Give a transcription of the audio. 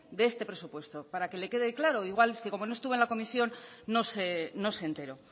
de este presupuesto para que le quede claro igual es como no estuvo en la comisión no se enteró